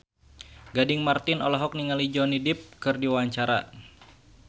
Gading Marten olohok ningali Johnny Depp keur diwawancara